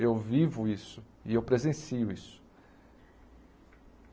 Eu vivo isso e eu presencio isso.